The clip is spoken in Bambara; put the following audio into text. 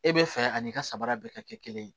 E bɛ fɛ ani i ka sabara bɛɛ ka kɛ kelen ye